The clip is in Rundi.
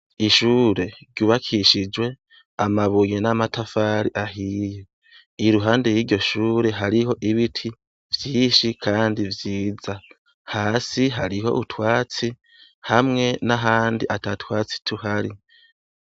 Ishure ryubakishijwe amabuye n'amatafari ahiye. Iruhande y'iryo shure hariho ibiti vyinshi kandi vyiza. Hasi hariho utwatsi, hamwe n'ahandi ata twatsi tuhari.